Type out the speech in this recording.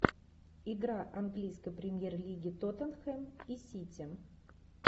игра английской премьер лиги тоттенхэм и сити